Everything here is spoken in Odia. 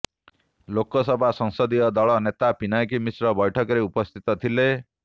ଲୋକସଭା ସଂସଦୀୟ ଦଳ ନେତା ପିନାକୀ ମିଶ୍ର ବୈଠକରେ ଉପସ୍ଥିତ ଥିଲେ